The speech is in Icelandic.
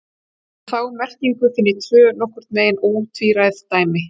Um þá merkingu finn ég tvö nokkurn veginn ótvíræð dæmi.